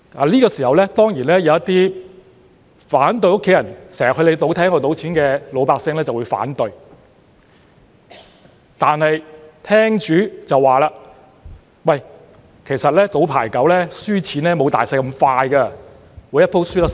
這時候，當然會有一些反對家人經常去你的賭廳賭錢的老百姓反對，但廳主卻說："其實賭牌九輸錢沒有'賭大細'般快，每一回輸得會較少"。